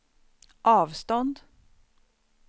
avstånd